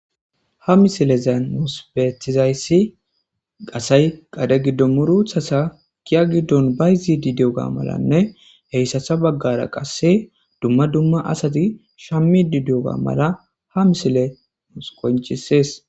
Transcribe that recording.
Ha misilezan nuspethizayssi qasay qade giddo muruthasa kiya giddon bayzidi dioga malanne heyssatsa baggara qasse dumma dumma asati shammidi diyoga mala ha misile nus konchisees.